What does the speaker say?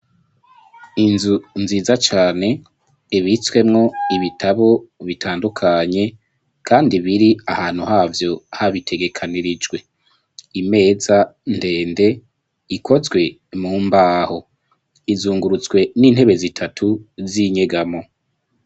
Inzu nziza cane ibitswemwo ibitabo bitandukanye kandi biri ahantu havyo habitegekanirijwe, imeza ndende ikozwe mu mbaho, izungurutswe n'intebe zitatu z'inyegamo.